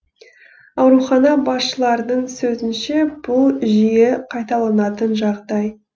аурухана басшыларының сөзінше бұл жиі қайталанатын жағдай